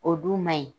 O dun ma ɲi